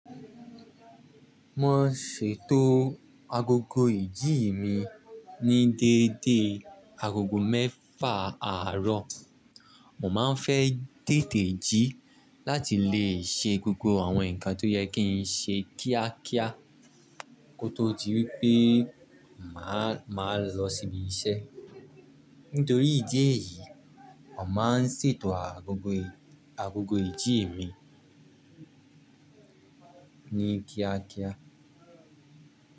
Mo n ṣètò agogo ìdíyì mi ní dédé agogo mẹ́fà àárọ̀. Mo máa n fẹ téètì jí láti lè ṣe gbogbo àwọn nǹkan tó yẹ kí n ṣe kíákíá kó tó di wípé màá lọ síbi iṣẹ́. Nítorí ìdí èyí, mo má n ṣètò agogo ìjì mi ní kíákíá.